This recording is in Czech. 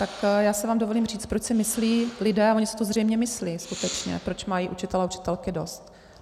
Tak já si vám dovolím říct, proč si myslí lidé - a oni si to zřejmě myslí skutečně, proč mají učitelé a učitelky dost.